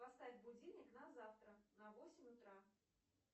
поставь будильник на завтра на восемь утра